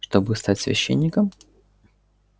чтобы стать священником